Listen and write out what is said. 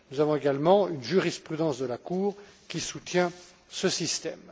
Nous avons également une jurisprudence de la Cour qui soutient ce système.